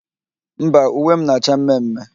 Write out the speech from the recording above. Mba, uwe m na-acha mme mme.